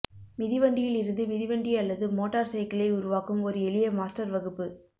மிதிவண்டியில் இருந்து மிதிவண்டி அல்லது மோட்டார் சைக்கிளை உருவாக்கும் ஒரு எளிய மாஸ்டர் வகுப்பு